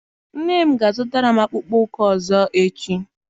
Nne m ga a zụtara m akpụkpọ ụkwụ ọzọ echi.